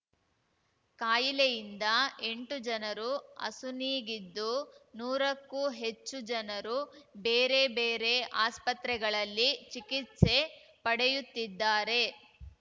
ಕಾಯಿಲೆಯಿಂದ ಎಂಟು ಜನರು ಅಸುನೀಗಿದ್ದು ನೂರಕ್ಕೂ ಹೆಚ್ಚು ಜನರು ಬೇರಬೇರೆ ಆಸ್ಪತ್ರೆಗಳಲ್ಲಿ ಚಿಕಿತ್ಸೆ ಪಡೆಯುತ್ತಿದ್ದಾರೆ